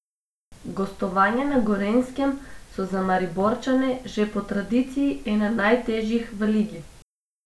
Gostovanja na Gorenjskem so za Mariborčane že po tradiciji ena najtežjih v ligi.